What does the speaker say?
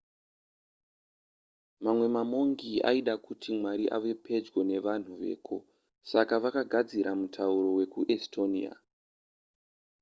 mamwe mamongi aida kuti mwari ave pedyo nevanhu veko saka vakagadzira mutauro wekuestonia